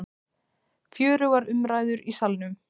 Fjörugur umræður í Salnum